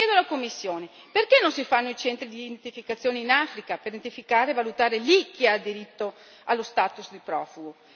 Chiedo alla Commissione perché non si fanno i centri di identificazione in Africa per identificare e valutare lì chi ha diritto allo status di profugo?